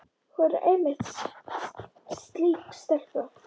Hún er einmitt slík stelpa.